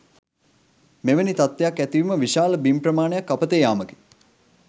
මෙවැනි තත්ත්වයක් ඇතිවීම විශාල බිම් ප්‍රමාණයක් අපතේ යාමකි.